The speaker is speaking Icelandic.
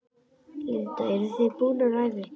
Linda: Eruð þið búnar að æfa ykkur?